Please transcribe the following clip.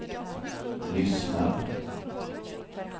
lyssnar